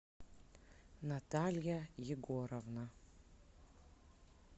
наталья егоровна